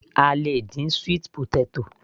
A lè dín sweet potatoes